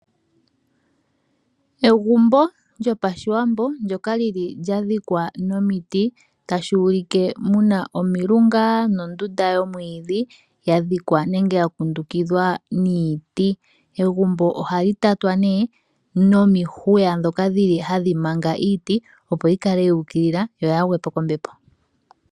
Egumbo lyopashiwambo ndyoka lya dhikwa nomiti shoka tashi ulike muna omilunga nondunda yomwiidhi ya dhikwa nenge ya kundukidhwa niiti. Egumbo ohali tatwa nee nomihwiya ndhoka dhili hadhi manga iiti, opo yi kale yuukilila yo yaagwe po kombepo.